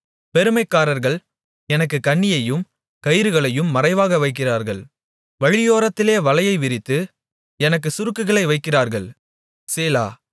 பெருமைக்காரர்கள் எனக்குக் கண்ணியையும் கயிறுகளையும் மறைவாக வைக்கிறார்கள் வழியோரத்திலே வலையை விரித்து எனக்குச் சுருக்குகளை வைக்கிறார்கள் சேலா